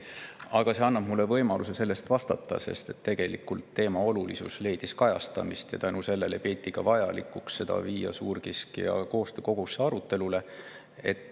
Aga see annab mulle võimaluse selle kohta vastata, sest tegelikult teema olulisus leidis seal kajastamist ja tänu sellele peeti vajalikuks viia see suurkiskjate koostöökogusse arutelule.